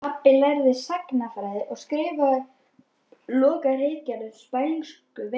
Pabbi lærði sagnfræði og skrifaði lokaritgerð um spænsku veikina.